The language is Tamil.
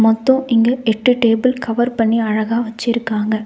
மொத்தோ இங்க எட்டு டேபிள் கவர் பண்ணி அழகா வச்சுருக்காங்க.